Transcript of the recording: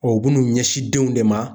u bun'u ɲɛsin denw de ma